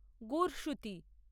গুরসুতি